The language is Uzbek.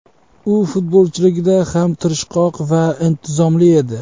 U futbolchiligida ham tirishqoq va intizomli edi.